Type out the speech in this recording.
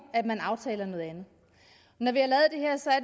man aftaler noget andet når vi